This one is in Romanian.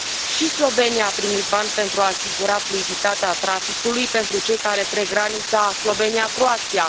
Și Slovenia a primit bani pentru a asigura fluiditatea traficului pentru cei care trec granița Slovenia Croația.